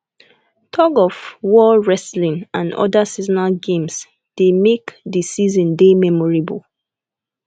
thug of war wrestling and oda seasonal games dey make the season dey memorable